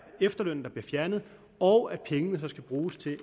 efterlønnen bliver fjernet og at pengene så skal bruges til at